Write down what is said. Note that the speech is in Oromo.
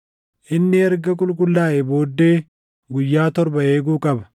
Inni erga qulqullaaʼee booddee guyyaa torba eeguu qaba.